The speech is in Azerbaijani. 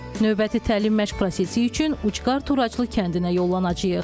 Növbəti təlim məşq prosesi üçün Ucqar Turaclı kəndinə yollanacağıq.